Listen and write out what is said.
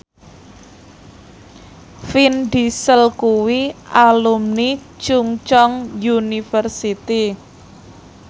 Vin Diesel kuwi alumni Chungceong University